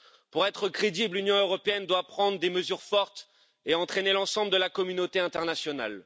Pour être crédible, l'Union européenne doit prendre des mesures fortes et entraîner l'ensemble de la communauté internationale.